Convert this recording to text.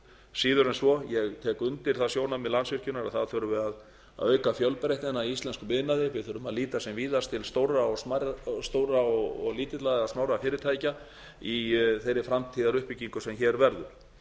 síður en svo ég tek undir það sjónarmið landsvirkjunar að það þurfi að auka fjölbreytnina í íslenskum iðnaði við þurfum að líta sem víðast til stórra og lítilla eða smárra fyrirtækja í þeirri framtíðaruppbyggingu sem hér verður